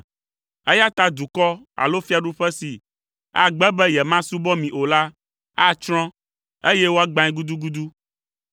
eya ta dukɔ alo fiaɖuƒe si agbe be yemasubɔ mi o la, atsrɔ̃, eye woagbãe gudugudu.